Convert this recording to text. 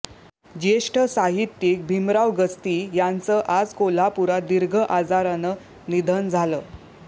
ज्येष्ठ साहित्यिक भीमराव गस्ती यांचं आज कोल्हापूरात दीर्घ आजारानं निधन झालं